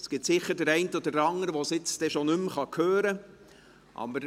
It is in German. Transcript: Es gibt sicher den einen oder andern, der es schon nicht mehr hören kann.